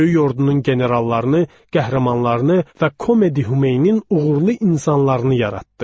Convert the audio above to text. Böyük ordunun generallarını, qəhrəmanlarını və Komedi Humeinin uğurlu insanlarını yaratdı.